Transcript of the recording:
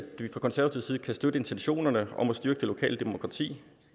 vi fra konservativ side kan støtte intentionerne om at styrke det lokale demokrati